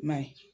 I ma ye